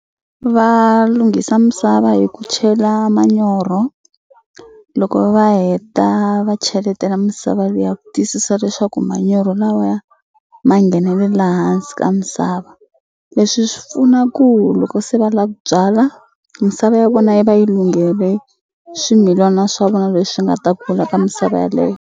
Va lunghisa misava hi ku chela manyoro loko va heta va cheletela misava liya ku tiyisisa leswaku manyoro lawaya ma nghenelela hansi ka misava leswi swi pfuna ku loko se va la ku byala misava ya vona yi va yi lunghele swimilana swa vona leswi nga ta kula ka misava yeleyo.